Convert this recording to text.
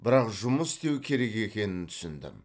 бірақ жұмас істеу керек екенін түсіндім